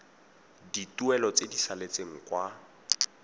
dituelo tse di saletseng kwa